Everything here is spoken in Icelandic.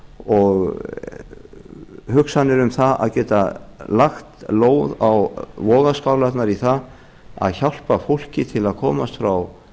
og hugsanir um það að geta lagt lóð á vogarskálarnar í því að hjálpa fólki til að komast frá